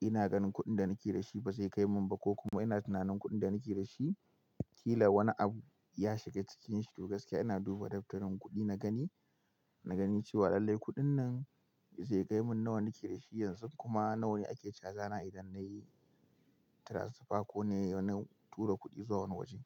ina ganin kuɗin da nake da shi ba zai kai mun ba ko kuma ina tunanin kuɗin da nake da shi ƙila wani abu ya shiga cikin shi. To gaskiya ina duba daftarin kuɗi na gani, na gani cewa lallai kuɗin nan zai kai mun nawane nake da shi yanzu kuma nawane ake caja na idan na yi tiransifa ko na yi wani tura kuɗi zuwa wani waje.